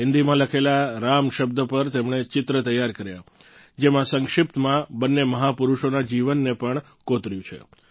હિન્દીમાં લખેલા રામ શબ્દ પર તેમણે ચિત્ર તૈયાર કર્યાં જેમાં સંક્ષિપ્તમાં બંને મહાપુરુષોના જીવનને પણ કોતર્યું છે